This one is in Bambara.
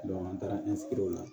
an taara la